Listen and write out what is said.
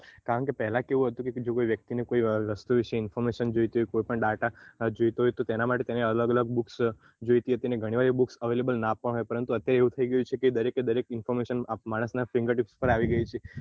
કારણ કે પેહલા કેવું હતું કોઈ વસ્તુ વિષે કોઈ information જોઈતી હોય કોઈ પણ data જોઈતો હોય તેના માટે તેને અલગ અલગ books જોઈતી હોય ઘણી વાર booksavailable નાં પણ હોય પરંતુ અત્યારે એવું થઇ ગયું છે દરેક એ દરેક information આપ ~ માણસ ના finger tips પર આવી ગઈ છે